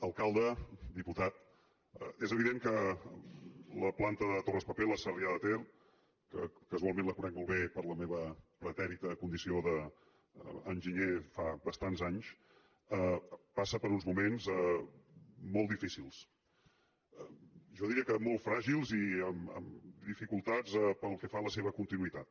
alcalde diputat és evident que la planta de torraspapel a sarrià de ter que casualment la conec molt bé per la meva pretèrita condició d’enginyer fa bastants anys passa per uns moments molt difícils jo diria que molt fràgils i amb dificultats pel que fa a la seva continuïtat